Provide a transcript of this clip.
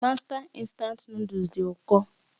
Mástá Instant Nụ́dúls dị ụkọ